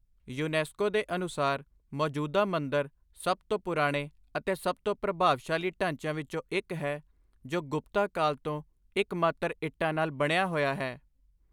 UNESCO ਦੇ ਅਨੁਸਾਰ,' 'ਮੌਜੂਦਾ ਮੰਦਿਰ ਸਭ ਤੋਂ ਪੁਰਾਣੇ ਅਤੇ ਸਭ ਤੋਂ ਪ੍ਰਭਾਵਸ਼ਾਲੀ ਢਾਂਚਿਆਂ ਵਿੱਚੋਂ ਇੱਕ ਹੈ ਜੋ ਗੁਪਤਾ ਕਾਲ ਤੋਂ ਇੱਕਮਾਤਰ ਇੱਟਾਂ ਨਾਲ ਬਣਿਆ ਹੋਇਆ ਹੈ।